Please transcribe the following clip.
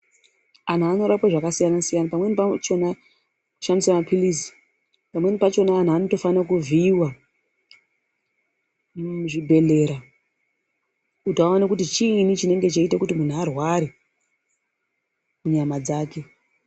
Anhu anorapwe zvakasiyana siyana. Pamweni pachona shandisa maphilizi, pamweni pachona anhu anofanira kutovhiiwa muzvibhedhlera kuti aone kuti chiinyi chinenge cheiyita kuti munhu arware munyama dzake.